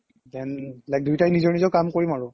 then like দুইতাই নিজৰ নিজৰ কাম কৰিম আৰু